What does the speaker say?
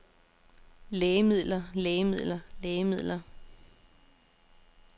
lægemidler lægemidler lægemidler